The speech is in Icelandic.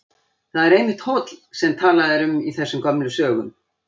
Þar er einmitt hóll sem talað er um í þessum gömlu sögum.